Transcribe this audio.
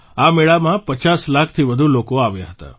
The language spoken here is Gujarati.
આ મેળામાં 50 લાખથી વધુ લોકો આવ્યા હતા